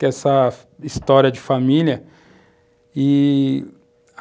essa história de família e,